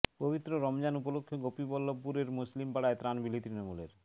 পবিত্র রমজান উপলক্ষে গোপীবল্লভপুরের মুসলিম পাড়ায় ত্রাণ বিলি তৃণমূলের